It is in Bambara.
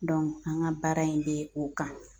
an ŋa baara in be o kan.